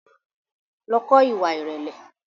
Lọ kọ́ ìwà ìrẹ̀lẹ̀!